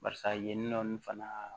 Barisa yen nɔ ni fana